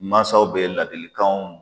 Mansaw bɛ ladilikanw